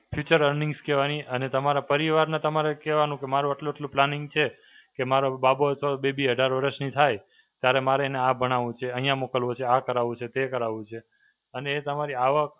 Future Earnings કહેવાની અને તમારા પરિવારને તમારે કહેવાનું કે મારું આટલું આટલું planning છે કે મારો બાબો હતો બેબી અઢાર વર્ષની થાય, ત્યારે મારે એને આ ભણાવું છે, અહીંયા મોકલવો છે, આ કરાવવું છે, તે કરાવું છે અને એ તમારી આવક